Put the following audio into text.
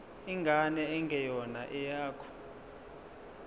ingane engeyona eyakho